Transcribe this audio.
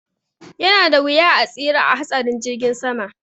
Yanada wuya a tsira a hatsarin jirgin sama